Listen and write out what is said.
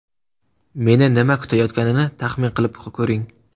Meni nima kutayotganini taxmin qilib ko‘ring!